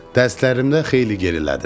Dərslərimdə xeyli gerilədim.